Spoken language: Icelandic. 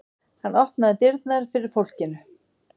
Hann opnaði dyrnar fyrir fólkinu.